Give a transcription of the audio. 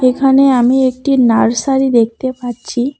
এখানে আমি একটি নার্সারি দেখতে পাচ্ছি।